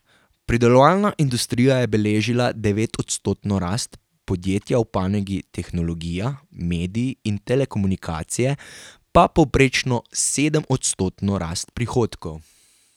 Predelovalna industrija je beležila devetodstotno rast, podjetja v panogi tehnologija, mediji in telekomunikacije pa povprečno sedemodstotno rast prihodkov.